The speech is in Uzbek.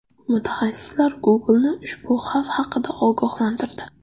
Mutaxassislar Google’ni ushbu xavf haqida ogohlantirdi.